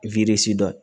dɔ